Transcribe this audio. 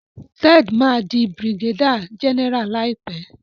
Ted má dì brigadier general láìpé.